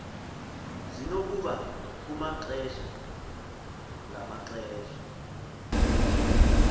zinokuba kumaxesha ngamaxesha